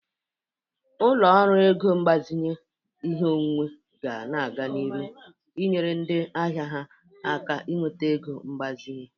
Ụlọ ọrụ ego mgbazinye ihe onwunwe ga-aga n'iru enyere ndị ahia ha aka inweta ego mgbazinye.